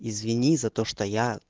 извини за то что я